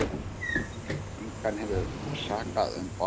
Engan hefur sakað um borð